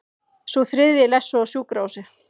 Sá þriðji lést svo á sjúkrahúsi